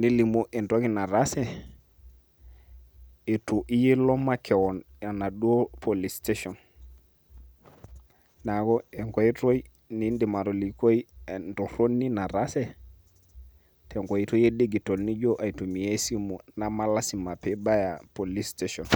nilimu entoki nataase, itu iyie ilo makeon enaduo police station. Neeku enkoitoi niidim atolikoi. entorronii nataase, tenkoitoi e digital nijo aitumia esimu namalasima pibaya police station.